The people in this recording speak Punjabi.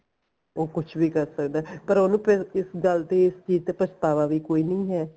ਉਹ ਕੁੱਝ ਵੀ ਕਰ ਸਕਦਾ ਪਰ ਉਹਨੂੰ ਫਿਰ ਕਿਸ ਗੱਲ ਦੀ ਇਸ ਚੀਜ਼ ਤੇ ਪਛਤਾਵਾ ਵੀ ਕੋਈ ਨਹੀਂ ਹੈ